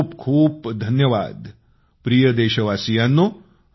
खूप खूप धन्यवाद प्रिय देशवासियांनो